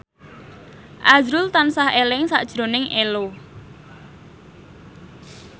azrul tansah eling sakjroning Ello